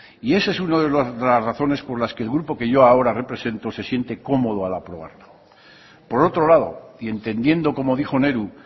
y esa es una de las razones por las que el grupo que yo ahora represento se siente cómodo al aprobarla por otro lado y entendiendo como dijo nehru